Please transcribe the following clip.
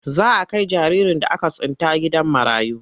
Za a kai jaririn da aka tsinta gidan marayu.